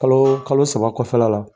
Kalo kalo saba kɔfɛ la la.